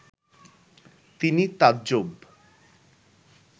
তিনি তাজ্জব